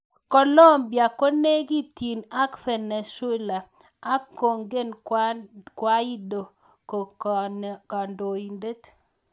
Colombia konekityin ak Venezuela ak kongen Guaido ko kandoindet.